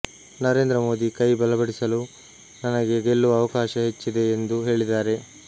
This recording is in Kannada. ನರೇಂದ್ರ ಮೋದಿ ಕೈ ಬಲಪಡಿಸಲು ನನಗೆ ಗೆಲ್ಲುವ ಅವಕಾಶ ಹೆಚ್ಚಿದೆ ಎಂದು ಹೇಳಿದ್ದಾರೆ